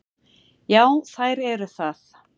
Já, þær eru það.